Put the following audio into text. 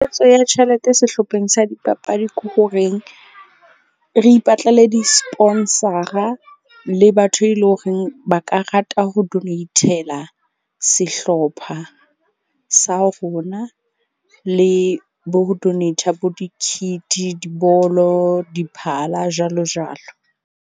Ya tjhelete sehlopheng sa dipapadi ke horeng re ipatlele di-sponsor-a le batho e le horeng ba ka rata ho donate-la sehlopha sa rona. Le bo ho donate-a le bo di-kit, dibolo, diphala, jwalo jwalo.